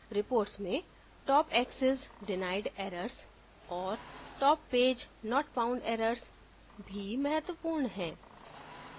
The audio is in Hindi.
reports में top access denied errors और top page not found errors भी महत्वपूर्ण हैं